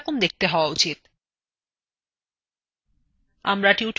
এটির এরকম দেখতে হওয়া উচিত